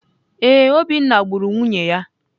Ee, Obinna gburu nwunye ya.